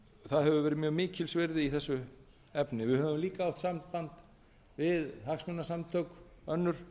það hefur verið mjög mikils virði í þessu efni við höfum líka haft samband við hagsmunasamtök önnur